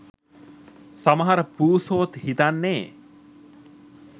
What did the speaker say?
සමහර පූසොත් හිතන්නේ